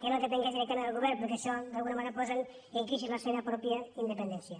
que no depengués directament del govern perquè això d’alguna manera posa en crisi la seva pròpia independència